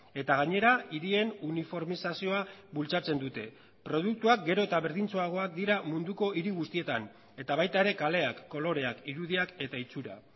eta gainera hirien uniformizazioa bultzatzen dute produktuak gero eta berdintsuagoak dira munduko hiri guztietan eta baita ere kaleak koloreak irudiak eta itxura